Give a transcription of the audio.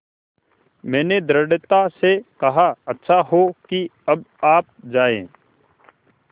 मैंने दृढ़ता से कहा अच्छा हो कि अब आप जाएँ